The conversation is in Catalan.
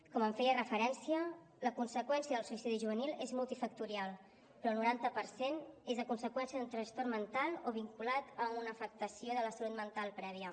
com feia referència la conseqüència del suïcidi juvenil és multifactorial però el noranta per cent és a conseqüència d’un trastorn mental o vinculat a una afectació de la salut mental prèvia